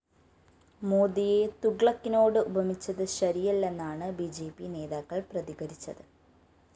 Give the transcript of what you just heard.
മോദിയെ തുഗ്ലക്കിനോട് ഉപമിച്ചത് ശരിയല്ലെന്നാണ് ബി ജെ പി നേതാക്കള്‍ പ്രതികരിച്ചത്